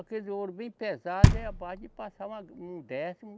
Aquele ouro bem pesado, é a base de passar uma gra, um décimo,